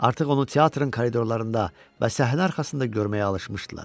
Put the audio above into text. Artıq onu teatrın koridorlarında və səhnə arxasında görməyə alışmışdılar.